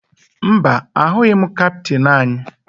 Mba, ahụghị m kaptịn anyị